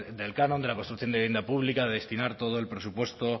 del canon de la construcción de vivienda pública a destinar todo el presupuesto